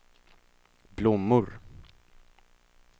blommor